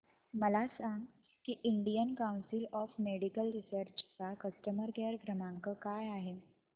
मला हे सांग की Indian council of medical research चा कस्टमर केअर क्रमांक काय आहे